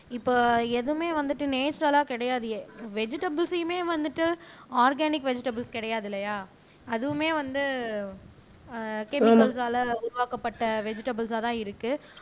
இப்போ எதுவுமே வந்துட்டு நேச்சுரலா கிடையாது வெஜிடபிள்ஸ்யுமே வந்துட்டு ஆர்கானிக் வெஜிடபிள்ஸ் கிடையாது இல்லையா அதுவுமே வந்து ஆஹ் கெமிக்கல்ஸல உருவாக்கப்பட்ட வெஜிடபிள்ஸ் ஆதான் இருக்கு